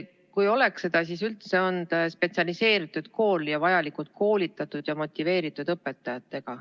Kui ta oleks seda, siis oleks ta üldse spetsialiseeritud kool, st vajalikult koolitatud ja motiveeritud õpetajatega.